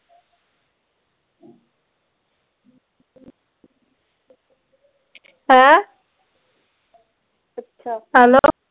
ਹੈਂ ਹੈਲੋ